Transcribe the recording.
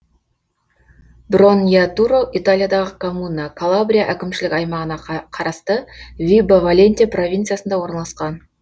броньятуро италиядағы коммуна калабрия әкімшілік аймағына қарасты вибо валентия провинциясында орналасқан